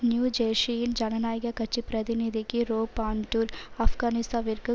new ஜேர்சியின் ஜனநாயக கட்சி பிரதிநிதிக்கு ரோப் ஆண்டுர் ஆப்கானிஸ்தானிற்கு